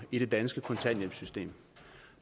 i det danske kontanthjælpssystem